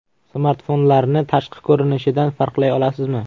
Smartfonlarni tashqi ko‘rinishidan farqlay olasizmi?